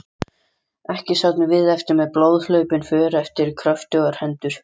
Ekki sátum við eftir með blóðhlaupin för eftir kröftugar hendur.